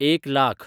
एक लाख